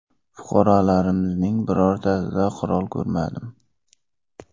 Fuqarolarimizning birortasida qurol ko‘rmadim.